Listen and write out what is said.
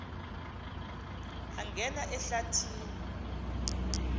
angena ehlathi ni